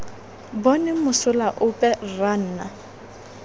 bone mosola ope rra nna